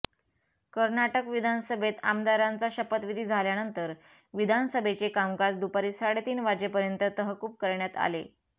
कर्नाटक विधानसभेत आमदारांचा शपथविधी झाल्यानंतर विधानसभेचे कामकाज दुपारी साडेतीन वाजेपर्यंत तहकूब करण्यात आले